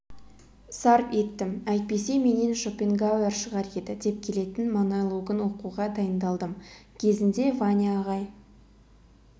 сарп еттім әйтпесе менен шопенгауэр шығар еді деп келетін монологын оқуға дайындалдым кезінде ваня ағай